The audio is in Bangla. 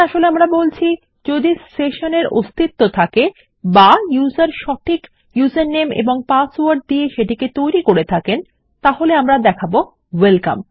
এখানে আসলে আমরা বলছি যদি সেশন এর অস্তিত্ব থাকে বা ইউসার সঠিক ইউজারনেম এবং পাসওয়ার্ড দিয়ে সেটিকে তৈরী করে থাকেন তাহলে আমরা দেখাবো ওয়েলকাম